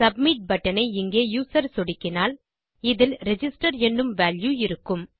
submit button ஐ இங்கே user சொடுக்கினால் இதில் ரிஜிஸ்டர் எனும் வால்யூ இருக்கும்